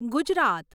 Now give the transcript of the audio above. Gujarat